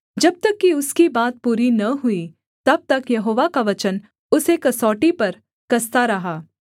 जब तक कि उसकी बात पूरी न हुई तब तक यहोवा का वचन उसे कसौटी पर कसता रहा